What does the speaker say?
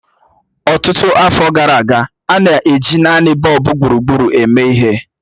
Ọtụtụ afọ gara aga, a na-eji naanị bọlbụ gburugburu eme ihe.